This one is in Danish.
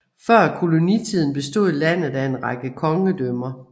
Før kolonitiden bestod landet af en række kongedømmer